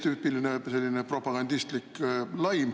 Tüüpiline propagandistlik laim.